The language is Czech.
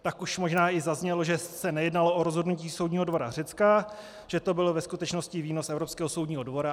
Tak už možná i zaznělo, že se nejednalo o rozhodnutí soudního dvora Řecka, že to byl ve skutečnosti výnos Evropského soudního dvora.